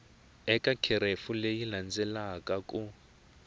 eka kherefu leyi landzelaka ku